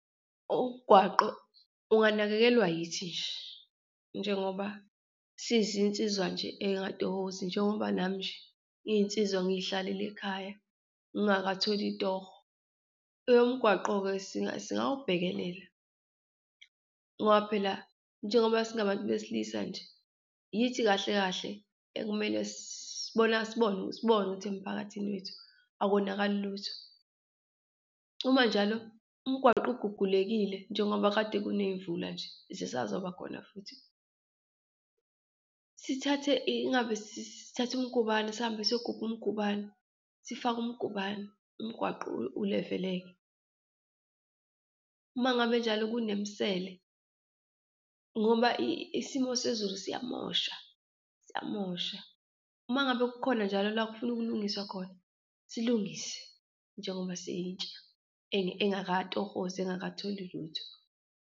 Umgwaqo unganakekelwa yithi nje njengoba sizinsizwa nje ey'ngatohozi njengoba nami nje ngiyinsizwa ngiyihlalele ekhaya, ngingakatholi itoho. Eyomgwaqo-ke singawubhekelela ngoba phela njengoba singabantu besilisa nje, yithi kahle kahle ekumele sibona sibone sibone ukuthi emphakathini wethu akonakali lutho. Uma njalo umgwaqo ugugulekile njengoba kade kuneyimvula nje, zisazoba khona futhi, sithathe ingabe sithatha imigubane, sihambe siyogubha umgubane, sifake umgubane, umgwaqo ulevele-ke. Uma ngabe njalo kunemisele, ngoba isimo sezulu siyamosha, siyamosha. Uma ngabe kukhona njalo la kufuna ukulungiswa khona, silungise njengoba siyintsha engakatohozi, engakatholi lutho.